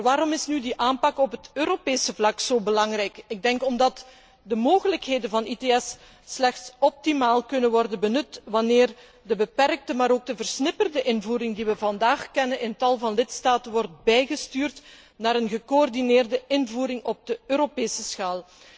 Maar waarom is nu die aanpak op het Europese vlak zo belangrijk? Ik denk omdat de mogelijkheden van ITS slechts optimaal kunnen worden benut wanneer de beperkte, maar ook de versnipperde invoering die we vandaag in tal van lidstaten kennen, wordt bijgestuurd naar een gecoördineerde invoering op Europese schaal.